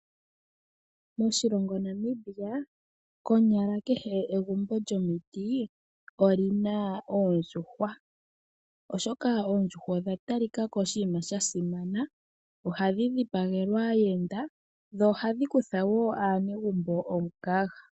Moshilongo Namibia , konyala kehe gumbo lyomiti olina oondjuhwa. Oshoka oondjuhwa odha talika ko ooshima shasimana . Ohadhi dhi pagelwa aayenda, dho ohadhi kutha woo aanegumbo omukaga.